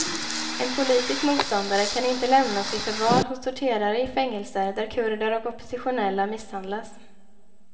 En politisk motståndare kan inte lämnas i förvar hos torterare i fängelser där kurder och oppositionella misshandlas.